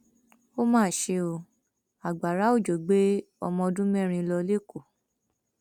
ó mà ṣe ọ agbára òjò gbé ọmọọdún mẹrin lọ lẹkọọ